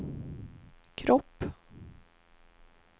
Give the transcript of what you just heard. kropp